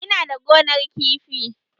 Ina da gonar kifi